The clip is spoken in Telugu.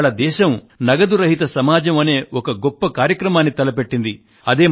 కానీ ఇవాళ దేశం నగదుకు తావులేని సమాజం అనే ఒక గొప్ప కార్యక్రమాన్ని తలపెట్టింది